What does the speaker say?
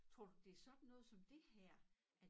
Tror du det sådan noget som det her at